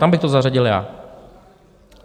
Tam bych to zařadil já.